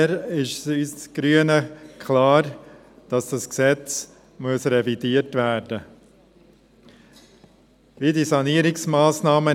Deshalb ist für uns Grüne klar, dass dieses Gesetz revidiert werden muss.